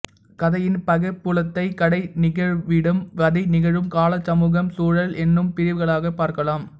கதையின் பகைப்புலத்தைக் கதை நிகழ்விடம் கதை நிகழும் காலம் சமூகச் சூழல் என்னும் பிரிவுகளாகப் பார்க்கலாம்